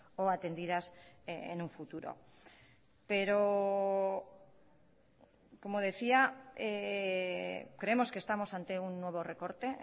o atendidas en un futuro pero como decía creemos que estamos ante un nuevo recorte